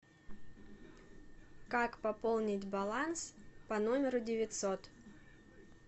как пополнить баланс по номеру девятьсот